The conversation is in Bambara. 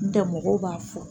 N tɛ mɔgɔw b'a fɔ